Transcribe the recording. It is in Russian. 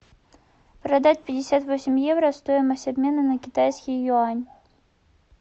продать пятьдесят восемь евро стоимость обмена на китайский юань